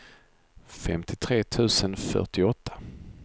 femtiotre tusen fyrtioåtta